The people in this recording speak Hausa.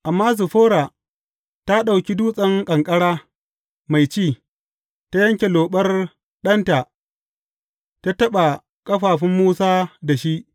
Amma Ziffora ta ɗauki dutsen ƙanƙara mai ci, ta yanke loɓar ɗanta ta taɓa ƙafafun Musa da shi.